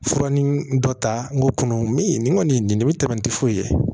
Fura ni dɔ ta n ko kɔnɔ mi nin kɔni nin bɛ tɛmɛ tɛ foyi ye